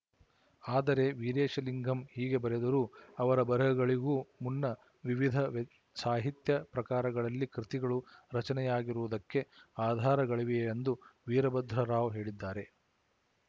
ಆದರೆ ವೀರೇಶಲಿಂಗಂ ಹೀಗೆ ಬರೆದರೂ ಅವರ ಬರೆಹಗಳಿಗೂ ಮುನ್ನ ವಿವಿಧ ಸಾಹಿತ್ಯ ಪ್ರಕಾರಗಳಲ್ಲಿ ಕೃತಿಗಳು ರಚನೆಯಾಗಿರುವುದಕ್ಕೆ ಆಧಾರಗಳಿವೆಯೆಂದು ವೀರಭದ್ರರಾವು ಹೇಳಿದ್ದಾರೆ